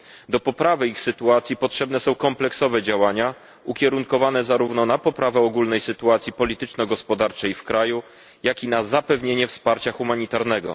Do poprawy ich sytuacji potrzebne są kompleksowe działania ukierunkowane zarówno na poprawę ogólnej sytuacji polityczno gospodarczej w kraju, jak i na zapewnienie wsparcia humanitarnego.